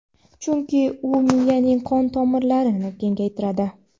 chunki u miyaning qon tomirlarini kengaytiradi.